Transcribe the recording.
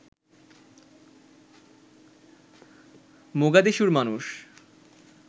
মোগাদিশুর মানুষ